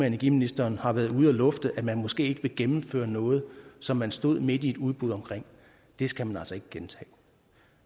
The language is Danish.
energiministeren har været ude at lufte at man måske ikke vil gennemføre noget som man stod midt i et udbud om at det skal man altså ikke gentage